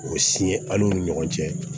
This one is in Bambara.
O siyɛn ala o ni ɲɔgɔn cɛ